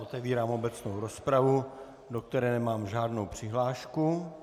Otevírám obecnou rozpravu, do které nemám žádnou přihlášku.